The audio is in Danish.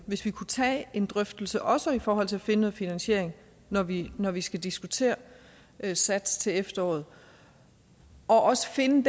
hvis vi kunne tage en drøftelse også i forhold til at finde noget finansiering når vi når vi skal diskutere sats til efteråret og også finde